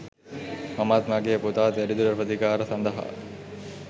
මමත් මගේ පුතාත් වැඩිදුර ප්‍රතිකාර සඳහා